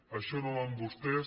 això no va amb vostès